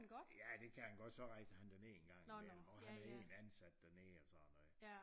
Ja det kan han godt så rejser han derned en gang imellem og han er ikke ansat dernede og sådan noget